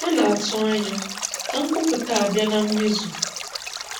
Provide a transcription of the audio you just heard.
ha na-atụ anya ka nkwụpụta a bịa na mmezu.